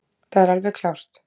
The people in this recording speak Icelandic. Það er alveg klárt